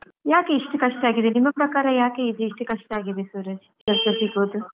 ಯಾಕೆ ಇಷ್ಟು ಕಷ್ಟ ಆಗಿದೆ. ನಿಮ್ಮ ಪ್ರಕಾರ ಯಾಕೆ ಇದು ಇಷ್ಟು ಕಷ್ಟ ಆಗಿದೆ ಸೂರಜ್ ಕೆಲಸ ಸಿಗೋದು?